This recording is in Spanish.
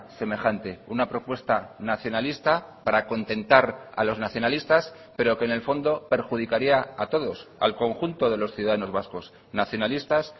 semejante una propuesta nacionalista para contentar a los nacionalistas pero que en el fondo perjudicaría a todos al conjunto de los ciudadanos vascos nacionalistas